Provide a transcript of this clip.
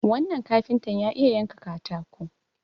wannan kafinta ya iya yanka katako